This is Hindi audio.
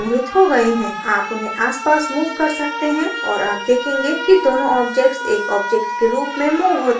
आप उन्हें आसपास move कर सकते हैं और आप देखेंगे कि दोनों objects एक objects के रूप में move होते हैं